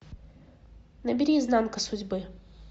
набери изнанка судьбы